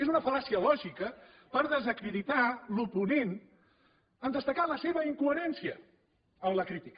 és una fal·làcia lògica per desacreditar l’oponent en destacar la seva incoherència en la crítica